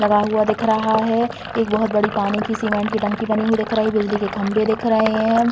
लगा हुआ दिख रहा है। एक बहोत बड़ी पानी की सीमेंट की टंकी बनी हुई दिख रही है। बिजली के खंभे दिख रहे हैं।